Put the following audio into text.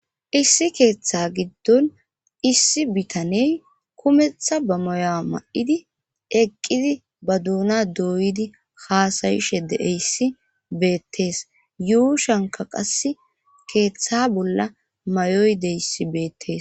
issi keeththa giddon issi bitaney kumeththa ba moya ma7idi eqqidi ba duuna dooydi haasayishe deeyssi beettees yuu shanka qass keeththa bolla mayoy deyssi beettes